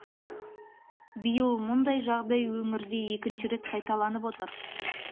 биыл мұндай жағдай өңірде екінші рет қайталанып отыр